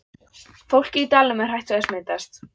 Fólkið í dalnum er hrætt við að smitast.